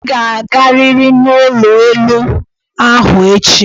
Ị ga-agarịrị n'ụlọ elụ ahụ echi!